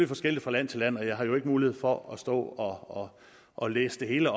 forskelligt fra land til land men jeg har jo ikke mulighed for at stå og læse det hele